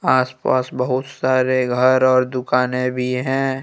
आसपास बहुत सारे घर और दुकाने भी हैं।